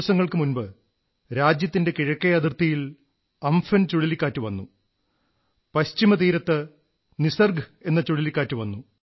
ദിവസങ്ങൾക്കു മുമ്പ് രാജ്യത്തിന്റെ കിഴക്കേ അതിർത്തിയിൽ ഉംപുൻ ചുഴലിക്കാറ്റു വന്നു പശ്ചിമ തീരത്ത് നിസർഗ്ഗ എന്ന ചുഴലിക്കാറ്റു വന്നു